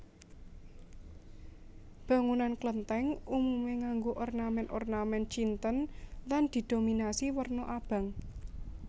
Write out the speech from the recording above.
Bangunan Klenthèng umume nganggo ornamen ornamen Cinten lan didominasi werna abang